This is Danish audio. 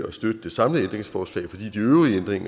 at støtte det samlede forslag fordi